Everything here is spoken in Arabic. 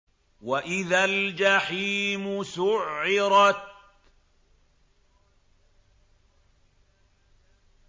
وَإِذَا الْجَحِيمُ سُعِّرَتْ